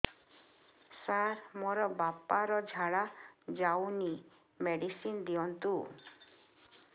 ସାର ମୋର ବାପା ର ଝାଡା ଯାଉନି ମେଡିସିନ ଦିଅନ୍ତୁ